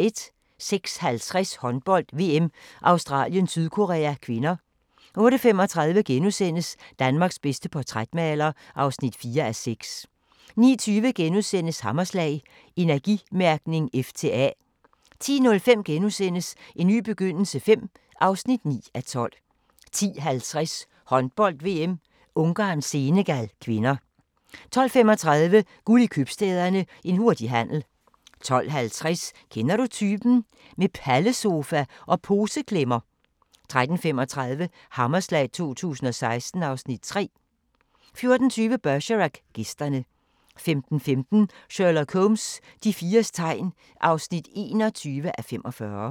06:50: Håndbold: VM - Australien-Sydkorea (k) 08:35: Danmarks bedste portrætmaler (4:6)* 09:20: Hammerslag - Energimærkning F til A * 10:05: En ny begyndelse V (9:12)* 10:50: Håndbold: VM - Ungarn-Senegal (k) 12:35: Guld i Købstæderne – en hurtig handel 12:50: Kender du typen? – Med pallesofa og poseklemmer 13:35: Hammerslag 2016 (Afs. 3) 14:20: Bergerac: Gæsterne 15:15: Sherlock Holmes: De fires tegn (21:45)